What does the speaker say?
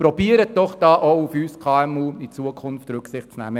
: Versuchen Sie in Zukunft auch auf uns KMU Rücksicht zu nehmen.